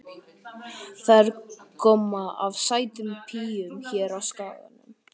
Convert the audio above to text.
Það er gomma af sætum píum hér á Skaganum.